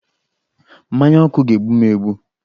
Mmanya ọkụ ga-egbu m egbu